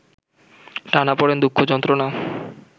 টানাপড়েন, দুঃখ যন্ত্রণা